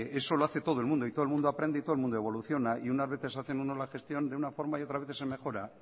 eso lo hace todo el mundo y todo el mundo aprende y todo el mundo evoluciona y unas veces hacen unos las gestión de una forma y otras veces se mejora